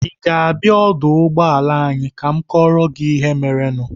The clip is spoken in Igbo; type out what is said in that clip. Ị ga-abịa n'ọdụ ụgbọala anyị ka m kọọrọ gị ihe merenụ?